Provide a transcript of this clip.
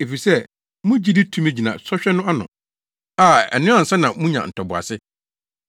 efisɛ sɛ mo gyidi tumi gyina sɔhwɛ no ano a, ɛno ansa na munya ntoboase.